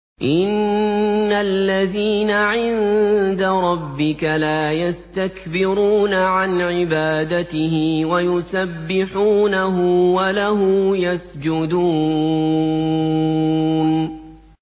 إِنَّ الَّذِينَ عِندَ رَبِّكَ لَا يَسْتَكْبِرُونَ عَنْ عِبَادَتِهِ وَيُسَبِّحُونَهُ وَلَهُ يَسْجُدُونَ ۩